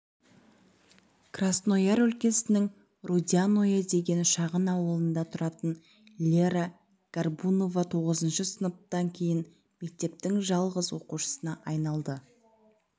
краснояр өлкесінің рудяное деген шағын ауылында тұратын лера горбунова тоғызыншы сыныптан кейін мектептің жалғыз оқушысына айналды